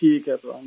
ठीक है सर प्रणाम